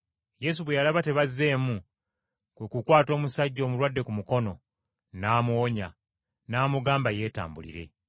Yesu yalaba tebazzeemu, kwe kukwata omusajja omulwadde ku mukono, n’amuwonya, n’amugamba yeetambulire.